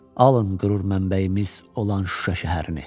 Alın qürur mənbəyimiz olan Şuşa şəhərini.